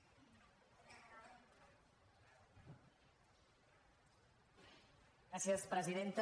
gràcies presidenta